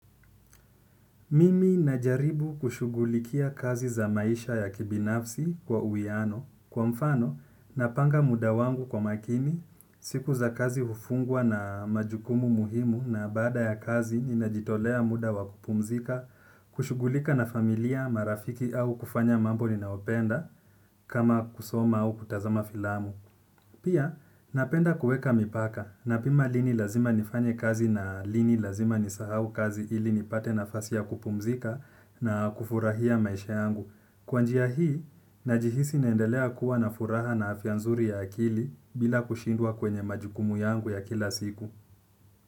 Mimi najaribu kushughulikia kazi za maisha ya kibinafsi kwa uwiano, kwa mfano napanga muda wangu kwa makini, siku za kazi hufungwa na majukumu muhimu na baada ya kazi ninajitolea muda wa kupumzika, kushughulika na familia, marafiki au kufanya mambo ninaopenda, kama kusoma au kutazama filamu. Pia, napenda kuweka mipaka, napima lini lazima nifanye kazi na lini lazima nisahau kazi ili nipate nafasi ya kupumzika na kufurahia maisha yangu. Kwa njia hii, najihisi naendelea kuwa na furaha na afya nzuri ya akili bila kushindwa kwenye majukumu yangu ya kila siku.